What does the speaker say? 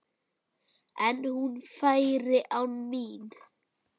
En hún færi án mín.